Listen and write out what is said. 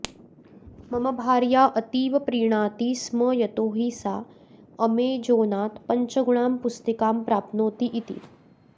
मम भार्या अतीव प्रीणाति स्म यतो हि सा अमेजोनात् पञ्चगुणां पुस्तिकां प्राप्नोति इति